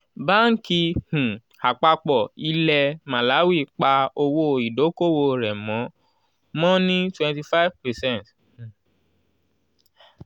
banki um àpapọ̀ ilẹ̀ màláwì pa owó ìdókòwò rẹ̀ mọ́ mọ́ ní twwnty five 25 percent